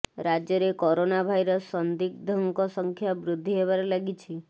ରାଜ୍ୟରେ corona virus ସନ୍ଦିଗ୍ଧଙ୍କ ସଂଖ୍ୟା ବୃଦ୍ଧି ହେବାରେ ଲାଗିଛି